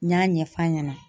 N y'a ɲɛf'a ɲɛna